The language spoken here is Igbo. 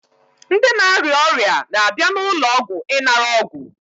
Ndị na-arịa ọrịa na-abịa n'ụlọọgwụ ịnara ọgwụ